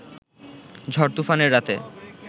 ঝড়-তুফানের রাতে